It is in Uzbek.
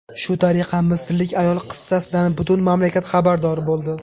Shu tariqa misrlik ayol qissasidan butun mamlakat xabardor bo‘ldi.